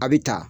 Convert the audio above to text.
A bi ta